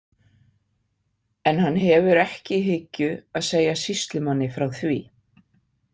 En hann hefur ekki í hyggju að segja sýslumanni frá því.